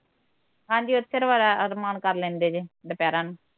ਹਾਂਜੀ ਓਥਰ ਬੜਾ ਅਰਮਾਨ ਕਰ ਲੈਂਦੇ ਜੇ, ਦੁਪਹਰਾ ਨੂੰ